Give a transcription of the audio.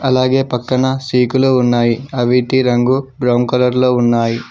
అలాగే పక్కన సీకులు ఉన్నాయి అవిటి రంగు బ్రౌన్ కలర్ లో ఉన్నాయి.